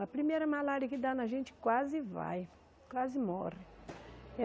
A primeira malária que dá na gente quase vai, quase morre.